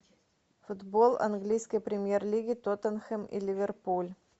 футбол английской премьер лиги тоттенхэм и ливерпуль